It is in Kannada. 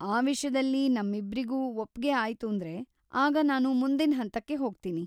ಆ ವಿಷ್ಯದಲ್ಲಿ ನಮ್ಮಿಬ್ರಿಗೂ ಒಪ್ಗೆ ಆಯ್ತೂಂದ್ರೆ, ಆಗ ನಾನು ಮುಂದಿನ್ ಹಂತಕ್ಕೆ ಹೋಗ್ತೀನಿ.